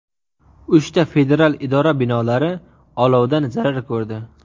Uchta federal idora binolari olovdan zarar ko‘rdi.